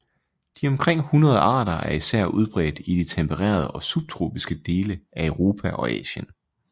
De omkring 100 arter er især udbredt i de tempererede og subtropiske dele af Europa og Asien